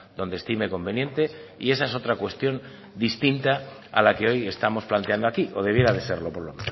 donde estime conveniente y esa es otra cuestión distinta a la que hoy estamos planteando aquí o debiera de serlo por lo